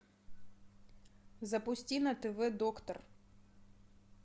запусти на тв доктор